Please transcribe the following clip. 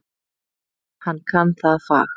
Hann kann það fag.